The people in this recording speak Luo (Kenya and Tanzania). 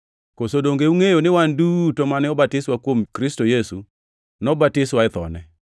Koso donge ungʼeyo ni wan duto mane obatiswa kuom Kristo Yesu, nobatiswa e thone?